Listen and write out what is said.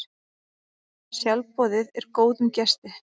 Sjálfboðið er góðum gesti.